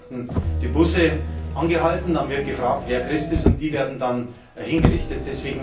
Es werden dort die Busse angehalten, dann wird gefragt, wer Christ ist, und die werden dann hingerichtet.